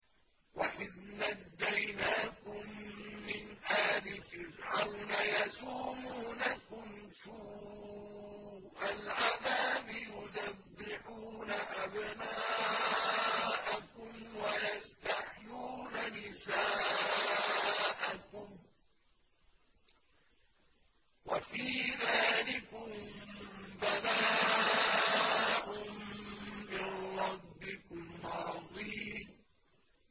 وَإِذْ نَجَّيْنَاكُم مِّنْ آلِ فِرْعَوْنَ يَسُومُونَكُمْ سُوءَ الْعَذَابِ يُذَبِّحُونَ أَبْنَاءَكُمْ وَيَسْتَحْيُونَ نِسَاءَكُمْ ۚ وَفِي ذَٰلِكُم بَلَاءٌ مِّن رَّبِّكُمْ عَظِيمٌ